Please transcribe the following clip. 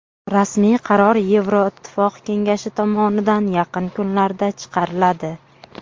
Rasmiy qaror Yevroittifoq kengashi tomonidan yaqin kunlarda chiqariladi.